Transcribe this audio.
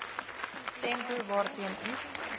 tempo waarteen iets